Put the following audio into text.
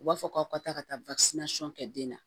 U b'a fɔ k'aw ka taa ka taa kɛ den na